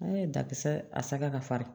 An ye dakisɛ a saga ka farin